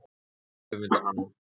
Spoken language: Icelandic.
Þau öfunda hana.